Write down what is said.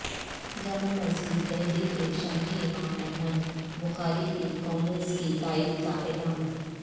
جامع مسجد دہلی کے شاہی امام احمد بخاری کی کانگریس کی تائید کا اعلان